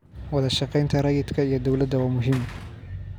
Wadashaqeynta rayidka iyo dowladda waa muhiim.